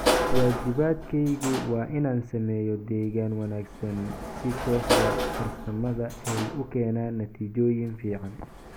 "Waajibaadkaygu waa inaan sameeyo deegaan wanaagsan si kooxda farsamada ay u keenaan natiijooyin fiican."